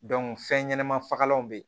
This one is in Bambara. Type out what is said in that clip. fɛn ɲɛnama fagalanw be yen